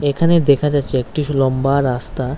এখানে দেখা যাচ্ছে একটিস লম্বা রাস্তা।